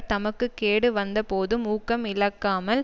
தமக்கு கேடு வந்த போதும் ஊக்கம் இழக்கமால்